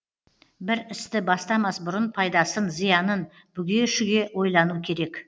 бір істі бастамас бұрын пайдасын зиянын бүге шүге ойлану керек